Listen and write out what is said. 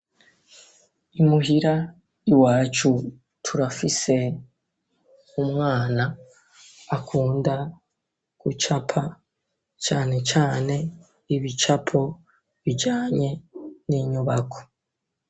Imuhira i wacu turafise umwana akunda gucapa canecane ibicapo bijanye n'inyubako.